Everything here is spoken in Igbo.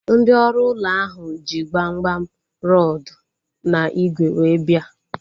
Ndị ọrụ ụlọ ahu ji gbamgbam, rọdu na ígwè wee bia